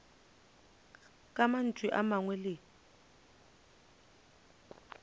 ka mantšu a mangwe le